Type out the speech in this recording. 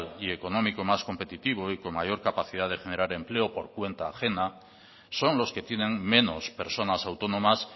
y económico más competitivo y con mayor capacidad de generar empleo por cuenta ajena son los que tienen menos personas autónomas